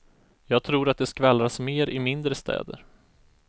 Jag tror att det skvallras mer i mindre städer.